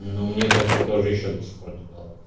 ну мне так то тоже ещё до сих пор не дала